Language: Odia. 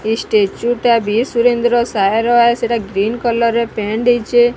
ଏଇ ସ୍ଟେଚୁ ଟା ବି ସୁରେନ୍ଦ୍ର ସାହାର ବାସ୍ ସେଟା ଗ୍ରିନ୍ କଲର ରେ ପ୍ରେଣ୍ଟ୍ ହେଇଚେ ।